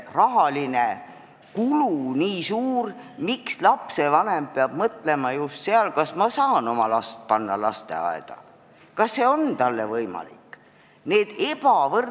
Miks lapsevanem peab mõtlema, kas ta saab oma lapse panna lasteaeda, kas see on talle võimalik?